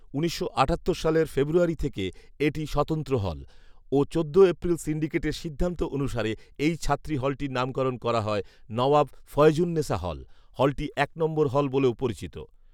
উনিশশো আটাত্তর সালের ফেব্রুয়ারি থেকে এটি স্বতন্ত্র হল ও চোদ্দ এপ্রিল সিন্ডিকেটের সিদ্ধান্ত অনুসারে এই ছাত্রী হলটির নামকরণ করা হয় নওয়াব ফয়জুন্নেসা হল৷ হলটি এক নম্বর হল বলেও পরিচিত